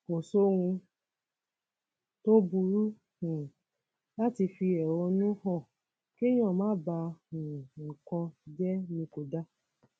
kò sóhun tó burú um láti fi ẹhónú hàn kéèyàn máa ba um nǹkan jẹ ni kò dáa